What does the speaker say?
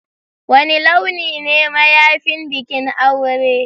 Wani launi ne mayafin bikin aure?